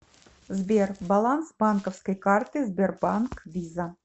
сбер баланс банковской карты сбербанк виза